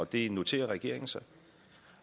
det noterer regeringen sig